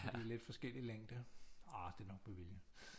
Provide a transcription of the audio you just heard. De er lidt forskellig længde ah det er nok med vilje